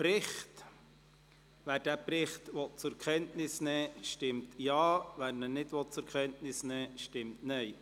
Wer den Bericht zur Kenntnis nehmen will, stimmt Ja, wer dies nicht will, stimmt Nein.